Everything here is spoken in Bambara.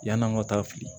Yann'an ka taa fili